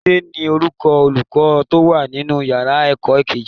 Túndé ní orúkọ Olùkọ́ tó wà nínú ìyára ẹ̀kọ́ kejì.